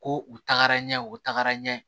Ko u tagara ɲɛ u tagara n ye